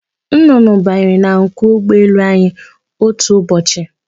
Nnụnụ banyere na nku ụgbọelu anyi otu ụbọchị.